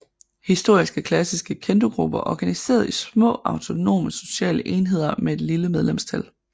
Historisk er klassiske Kendogrupper organiseret i små autonome sociale enheder med et lille medlemsantal